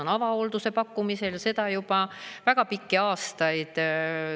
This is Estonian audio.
On avahoolduse pakkumised, ja seda juba väga pikki aastaid.